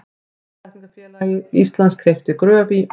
Náttúrulækningafélag Íslands keypti Gröf í